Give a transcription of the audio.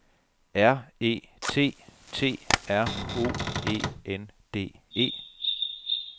R E T T R O E N D E